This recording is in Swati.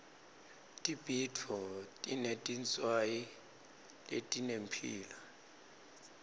tibhidvo tinetinswayi letinemphilo